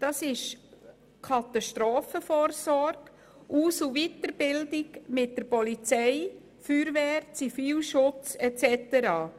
Dazu gehören die Katastrophenvorsorge sowie die Aus- und Weiterbildungen mit der Polizei, der Feuerwehr, dem Zivilschutz und so weiter.